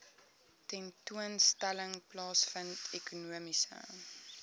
tentoonstelling plaasvind ekonomiese